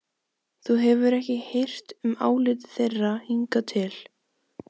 Þú hefur ekki hirt um álit þeirra hingað til.